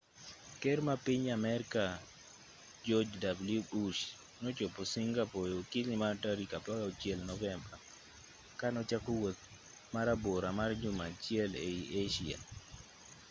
ker mar piny amerka george w bush nochopo singapore e okinyi mar tarik 16 novemba ka nochako wuoth marabora mar juma achiel ei asia